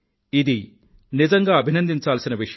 ఇది నిజంగా అభినందించాల్సిన విషయం